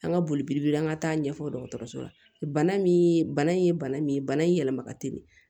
An ka boli an ka taa ɲɛfɔ dɔgɔtɔrɔso la bana min bana in ye bana min ye bana in yɛlɛma ka teli